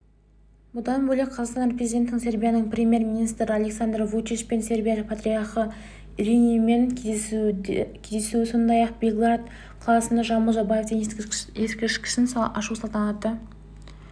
бұдан бөлек қазақстан президентінің сербияның премьер-министрі александр вучичпен сербия патриархы иринеймен кездесуі сондай-ақ белград қаласында жамбыл жабаевтың ескерткішін ашу салтанатты